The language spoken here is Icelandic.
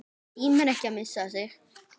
Tímir ekki að missa mig.